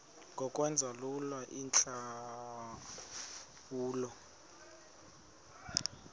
ngokwenza lula iintlawulo